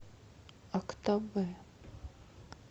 актобе